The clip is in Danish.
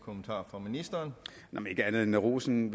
at ministeren kan rose dem